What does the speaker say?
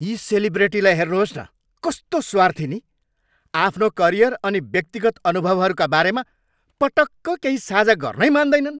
यी सेलिब्रेटीलाई हेर्नुहोस् न, कस्तो स्वार्थी नि? आफ्नो करियर अनि व्यक्तिगत अनुभवहरूका बारेमा पटक्क केही साझा गर्नै मान्दैनन्।